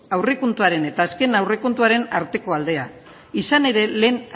aurrekontuaren eta azken aurrekontuaren arteko aldea izan ere lehen